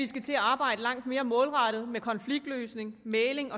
skal til at arbejde langt mere målrettet med konfliktløsning mægling